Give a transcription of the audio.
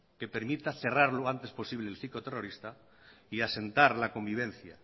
que permita cerrar lo antes posible el ciclo terrorista y asentar la convivencia